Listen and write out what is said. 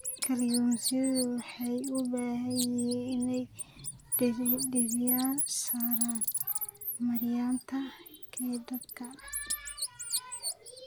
Kalluumaysigu waxay u baahan yihiin inay diiradda saaraan maareynta kheyraadka.